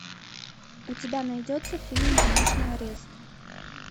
у тебя найдется фильм домашний арест